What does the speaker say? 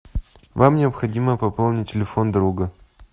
вам необходимо пополнить телефон друга